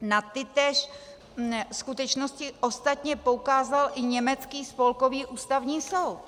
Na tytéž skutečnosti ostatně poukázal i německý Spolkový ústavní soud.